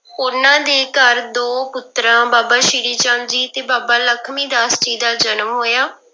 ਉਹਨਾਂ ਦੇ ਘਰ ਦੋ ਪੁੱਤਰਾਂ ਬਾਬਾ ਸ੍ਰੀ ਚੰਦ ਜੀ ਤੇ ਬਾਬਾ ਲਖਮੀ ਦਾਸ ਜੀ ਦਾ ਜਨਮ ਹੋਇਆ।